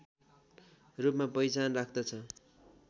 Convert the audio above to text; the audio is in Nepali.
रूपमा पहिचान राख्दछ